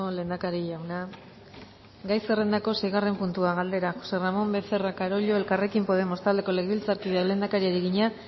lehendakari jauna gai zerrendako seigarren puntua galdera jose ramon becerra carollo elkarrekin podemos taldeko legebiltzarkideak lehendakariari egina